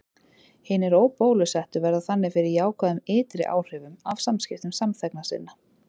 Hinir óbólusettu verða þannig fyrir jákvæðum ytri áhrifum af samskiptum samþegna sinna.